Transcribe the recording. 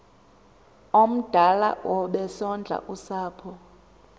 omdala obesondla usapho